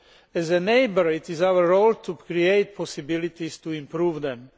As a neighbour, it is our role to create possibilities to improve them.